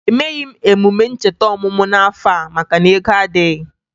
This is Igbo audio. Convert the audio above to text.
Emeghi m emume ncheta ọmụmụ m n'afọ a maka na ego adịghị